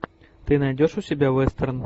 ты найдешь у себя вестерн